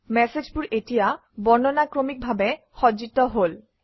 মেচেজবোৰ এতিয়া বৰ্ণানুক্ৰমিকভাৱে সজ্জিত হল